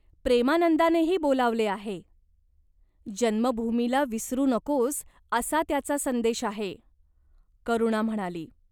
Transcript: "प्रेमानंदानेही बोलावले आहे. जन्मभूमीला विसरू नकोस, असा त्याचा संदेश आहे," करुणा म्हणाली.